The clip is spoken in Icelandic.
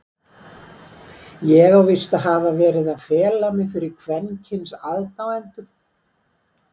Ég á víst að hafa verið að fela mig fyrir kvenkyns aðdáendum?!